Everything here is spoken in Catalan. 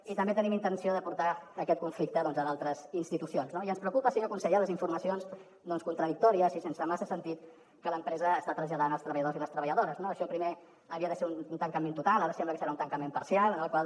i també tenim intenció de portar aquest conflicte a altres institucions no i ens preocupen senyor conseller les informacions contradictòries i sense massa sentit que l’empresa està traslladant als treballadors i les treballadores no això primer havia de ser un tancament total ara sembla que serà un tancament parcial en el qual